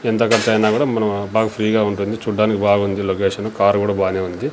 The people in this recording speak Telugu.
ఎంత ఖర్చైనా గుడా మనం బాగా ఫ్రీ గా ఉంటుంది చూడ్డానికి బాగుంది లోకేషను కార్ గుడ బానే ఉంది.